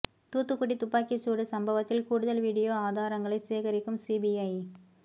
தூத்துக்குடி துப்பாக்கி சூடு சம்பவத்தில் கூடுதல் வீடியோ ஆதாரங்களை சேகரிக்கும் சிபிஐ